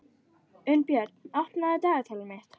Unnbjörn, opnaðu dagatalið mitt.